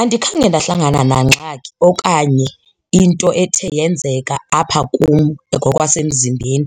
Andikhange ndahlangana nangxaki okanye into ethe yenzeka apha kum ngokwasemzimbeni